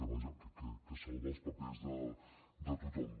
vaja que salva els papers de tothom